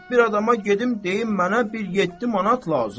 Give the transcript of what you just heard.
Bir adama gedib deyim mənə bir yeddi manat lazımdır.